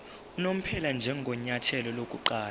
unomphela njengenyathelo lokuqala